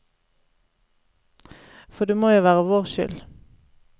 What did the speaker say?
For det må jo være vår skyld.